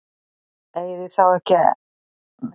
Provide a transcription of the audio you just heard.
Eigið þið þá eftir að styrkja ykkur enn frekar?